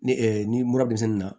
Ni n'i bɔra denmisɛnnin na